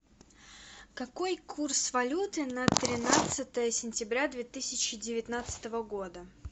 какой курс валюты на тринадцатое сентября две тысячи девятнадцатого года